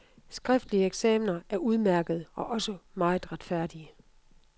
Skriftlige eksaminer er udmærkede, og også meget retfærdige.